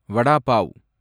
வடா pav